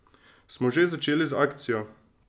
Smo že začeli z akcijo ...